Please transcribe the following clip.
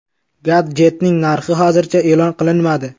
Gadjetning narxi hozircha e’lon qilinmadi.